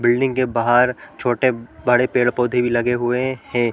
Building के बाहर छोटे - बड़े पेड़ - पौधे भी लगे हुए हैं।